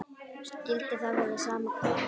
Skyldi það vera sama hverfið?